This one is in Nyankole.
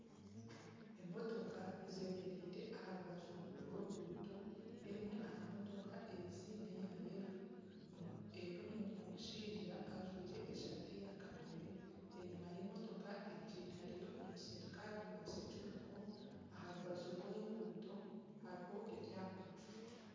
Emotoka zemereire aha rubaju rw'oruguuto, emwe aha motoka ezi neya yero erimu omushaija ajwire esaati yakapere enyuma y'emotoka egi hariyo omusirukare wa securico aha rubaju rw'enguuto hariho ebyapa.